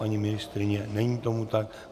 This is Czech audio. Paní ministryně - není tomu tak.